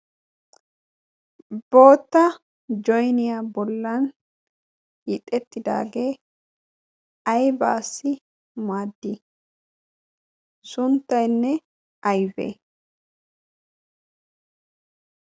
boota joyniyaa bollan yiixettidaagee aybaassi muaaddi sunttaynne aybee